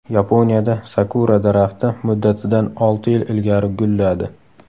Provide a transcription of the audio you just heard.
Yaponiyada sakura daraxti muddatidan olti yil ilgari gulladi.